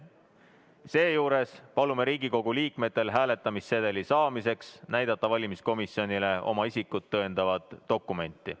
Seejuures palume Riigikogu liikmetel hääletamissedeli saamiseks näidata valimiskomisjonile oma isikut tõendavat dokumenti.